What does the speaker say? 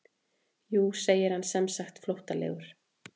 Jú segir hann semsagt flóttalegur.